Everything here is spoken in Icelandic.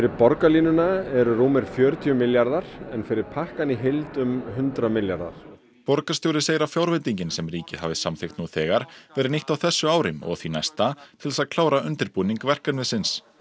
borgarlínuna eru rúmir fjörutíu milljarðar en fyrir pakkann í heild um hundrað milljarðar borgarstjóri segir að fjárveitingin sem ríkið hafi samþykkt nú þegar verði nýtt á þessu ári og því næsta til þess að klára undirbúning verkefnisins